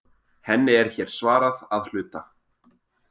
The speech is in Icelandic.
Henni er hér svarað að hluta.